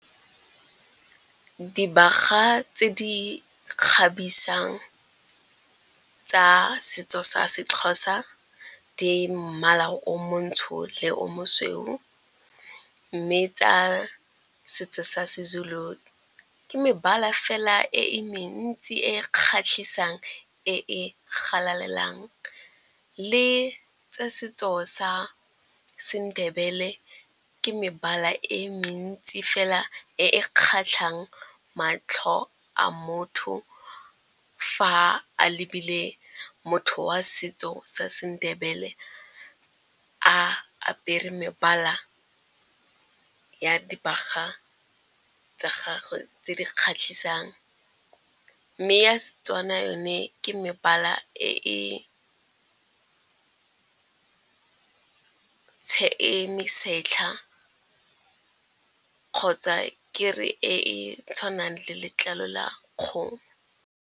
Dibaga tse di kgabisang tsa setso sa seXhosa di mmala o montsho le o mosweu. Mme tsa setso sa seZulu ke mebala fela e mentsi e kgatlhisang, e galaleng. Le tsa setso sa seNdebele ke mebala e mentsi fela e kgatlhang matlho a motho fa a lebile motho wa setso sa seNdebele a apere mebala ya dibaga tsa gagwe tse di kgatlhisang. Mme ya seTswana yone ke mebala e mesetlha kgotsa ke re e tshwanang le letlalo la kgomo.